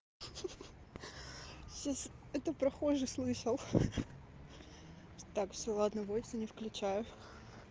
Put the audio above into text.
хи-хи сейчас это прохожий слышал хи-хи так всё ладно войси не включаю